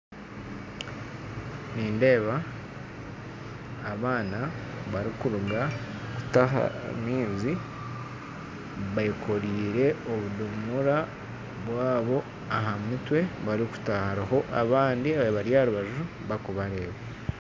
Nindeeba abaana barikuruga kutaha amaizi bekoriire obudomora bwabo ahamutwe barikutaaha hariho abandi bari aharubaju barikubareeba.